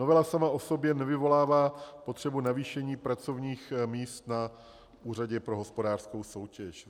Novela sama o sobě nevyvolává potřebu navýšení pracovních míst na Úřadě pro hospodářskou soutěž.